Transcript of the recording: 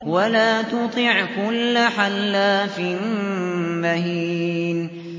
وَلَا تُطِعْ كُلَّ حَلَّافٍ مَّهِينٍ